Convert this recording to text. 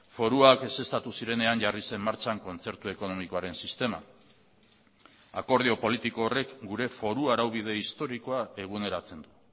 foruak ezeztatu zirenean jarri zen martxan kontzertu ekonomikoaren sistema akordio politiko horrek gure foru araubide historikoa eguneratzen du